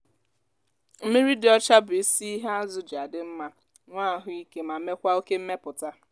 mmiri dị ọcha bụ isi ihe azụ ji adị mma nwé ahụ ike ma mekwaa oke mmepụta.